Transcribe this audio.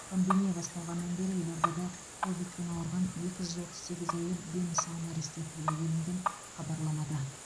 пандемия басталғаннан бері елордада ковитпен ауырған екі жүз отыз сегіз әйел дені сау нәресте туды делінген хабарламада